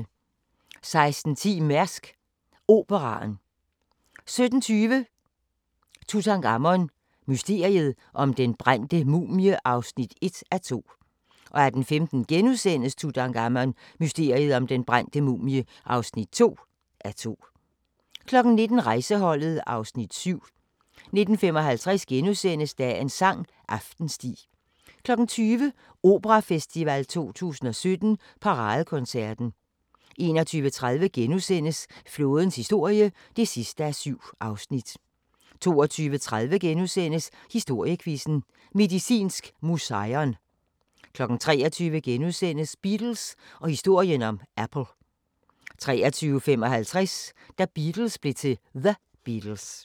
16:10: Mærsk Operaen 17:20: Tutankhamon: Mysteriet om den brændte mumie (1:2) 18:15: Tutankhamon: Mysteriet om den brændte mumie (2:2)* 19:00: Rejseholdet (Afs. 7) 19:55: Dagens sang: Aftensti * 20:00: Operafestival 2017: Paradekoncerten 21:30: Flådens historie (7:7)* 22:30: Historiequizzen: Medicinsk Museion * 23:00: Beatles og historien om Apple * 23:55: Da Beatles blev til The Beatles